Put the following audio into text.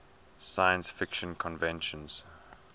science fiction conventions